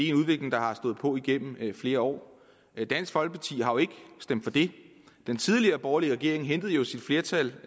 er en udvikling der har stået på igennem flere år dansk folkeparti har jo ikke stemt for det den tidligere borgerlige regering hentede jo sit flertal